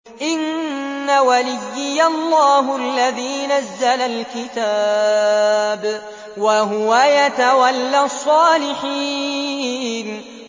إِنَّ وَلِيِّيَ اللَّهُ الَّذِي نَزَّلَ الْكِتَابَ ۖ وَهُوَ يَتَوَلَّى الصَّالِحِينَ